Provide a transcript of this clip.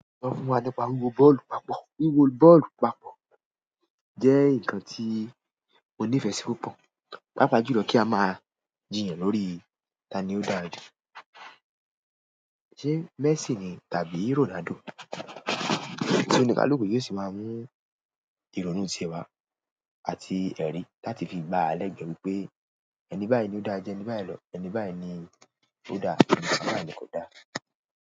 Sọ fún wa nípa wíwo bọ́ọ̀lù papọ̀. Wíwo bọ́ọ̀lù papọ̀ jẹ́ nǹkan tí mo nífẹ̀ẹ́ sí púpọ̀, pàápàá jùlọ kí a máa jiyàn lórí ta ni ó dára jù, ṣe Messi ni tàbí Ronaldo. Tí oníkálùkú yóò sì máa mú ìrònú tiẹ̀ wá àti ẹ̀rí láti fi gbáa lẹ́gbẹ̀ẹ́ wípé ẹni báyìí ló dáa ju ẹni báyìí lọ. Ẹni báyìí ni ó dáa, ẹni báyìí ni kò dáa.